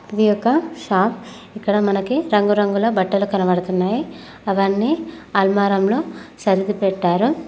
ఇది ఒక షాప్ ఇక్కడ మనకి రంగురంగుల బట్టలు కనబడుతున్నాయి అవన్నీ అల్మారంలో సరిది పెట్టారు.